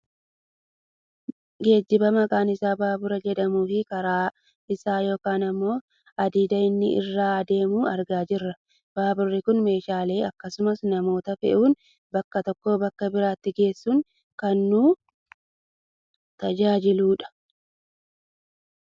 Geejjiba maqaan isaa baabura jedhamuu fi karaa isaa yookaan ammoo hadiida inni irra deemu argaa jirra. Baaburri kun meeshaalee akkasumas namoota fe'uun bakka tokkoo bakka biraatti geessuun kan nu tajaajiludha.